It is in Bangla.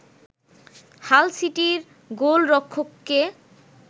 হাল সিটির গোলরক্ষককে